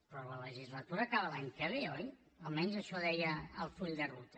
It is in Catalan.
però la legislatura acaba l’any que ve oi almenys això deia el full de ruta